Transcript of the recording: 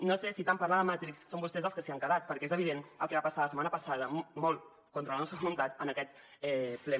no sé si tant parlar de matrix són vostès els que s’hi han quedat perquè és evident el que va passar la setmana passada molt contra la nostra voluntat en aquest ple